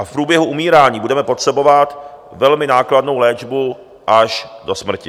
A v průběhu umírání budeme potřebovat velmi nákladnou léčbu až do smrti.